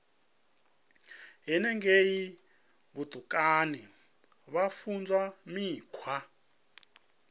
henengei vhutukani vha funzwa mikhwa